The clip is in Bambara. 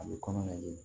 A bɛ kɔnɔ ladiri